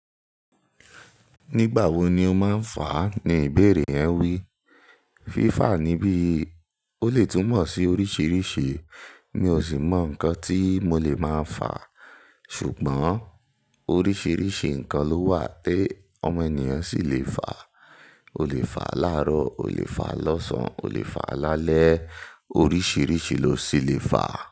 "Nígbà wo ni o máa ń fàá?" Ni ìbéèrè yẹn wí. Fífàà níbí, ó lè túmọ̀ sí oríṣiríṣi, mi ò sì mọ nǹkan tí mo lè máa fàá. Ṣùgbọ́n oríṣiríṣi nǹkan ló wà tí ọmọ ènìyàn sì lè fàá. O lè fàá láàárọ̀, o lè fàá lọ́sàn-án, o lè fàá lálẹ́. Oríṣiríṣi ló sì lè fàá.